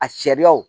A sariyaw